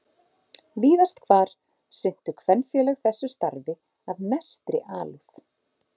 Víðast hvar sinntu kvenfélög þessu starfi af mestri alúð.